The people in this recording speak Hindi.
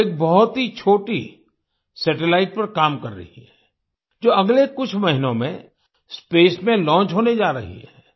वो एक बहुत ही छोटी सैटेलाइट पर काम कर रही है जो अगले कुछ महीनों में स्पेस में लॉन्च होने जा रही है